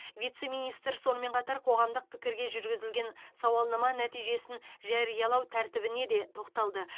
вице министр сонымен қатар қоғамдық пікірге жүргізілген сауалнама нәтижесін жариялау тәртібіне де тоқталды